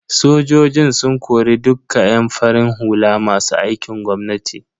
Sojojin sun kori dukka yan farin hula masu aikin gwamnati.